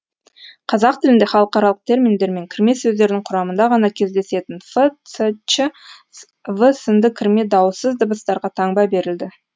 қазақ тілінде халықаралық терминдер мен кірме сөздердің құрамында ғана кездесетін ф ц ч в сынды кірме дауыссыз дыбыстарға таңба берілді